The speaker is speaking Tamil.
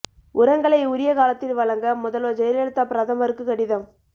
உரங்களை உரிய காலத்தில் வழங்க முதல்வர் ஜெயலலிதா பிரதமருக்கு கடிதம்